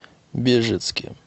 бежецке